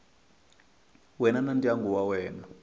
wena na ndyangu wa wena